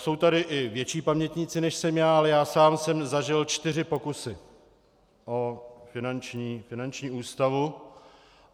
Jsou tady i větší pamětníci, než jsem já, ale já sám jsem zažil čtyři pokusy o finanční ústavu.